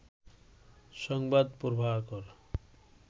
সংবাদ প্রভাকর